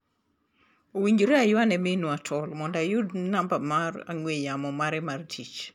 Owinjore ayua ne minwa tol mondo ayud namba mar ang'ue yamo mare mar tich.